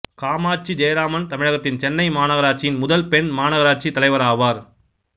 காமாட்சி ஜெயராமன் தமிழகத்தின் சென்னை மாநகராட்சியின் முதல் பெண் மாநகராட்சித் தலைவராவார்